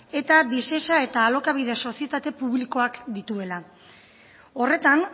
eta visesa eta alokabide sozietate publikoak dituela horretan